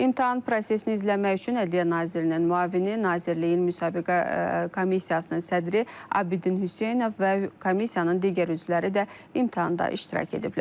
İmtahan prosesini izləmək üçün Ədliyyə Nazirinin müavini, Nazirliyin müsabiqə komissiyasının sədri Abidin Hüseynov və komissiyanın digər üzvləri də imtahanda iştirak ediblər.